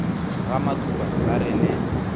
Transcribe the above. ga matuba ba re le